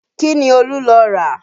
Kí ni Olú lọ rà?